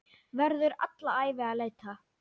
Verður alla ævi að leita.